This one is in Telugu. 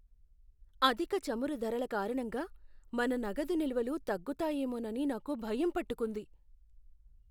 అధిక చమురు ధరల కారణంగా మన నగదు నిల్వలు తగ్గుతాయేమోనని నాకు భయం పట్టుకుంది.